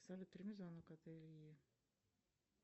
салют прими звонок от ильи